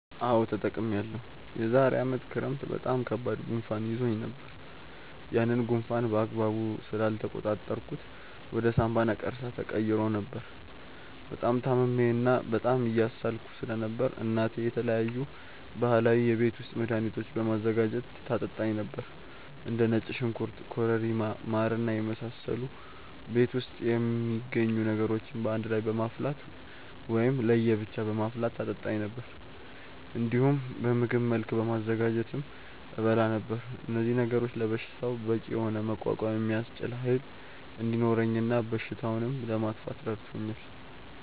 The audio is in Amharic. አዎ ተጠቅሜያለሁ። የዛሬ አመት ክረምት በጣም ከባድ ጉንፋን ይዞኝ ነበር። ያንን ጉንፋን በአግባቡ ስላልተቆጣጠርኩት ወደ ሳምባ ነቀርሳ ተቀይሮ ነበር። በጣም ታምሜ እና በጣም እየሳልኩ ስለነበር እናቴ የተለያዩ ባህላዊ የቤት ውስጥ መድሀኒቶችን በማዘጋጀት ታጠጣኝ ነበር። እንደ ነጭ ሽንኩርት ኮረሪማ ማር እና የመሳሰሉ ቤት ውስጥ የሚገኙ ነገሮችን በአንድ ላይ በማፍላት ወይም ለየ ብቻ በማፍላት ታጠጣኝ ነበር። እንዲሁም በምግብ መልክ በማዘጋጀትም እበላ ነበር። እነዚህ ነገሮች ለበሽታው በቂ የሆነ መቋቋም የሚያስችል ኃይል እንዲኖረኝ እና በሽታውንም ለማጥፋት ረድቶኛል።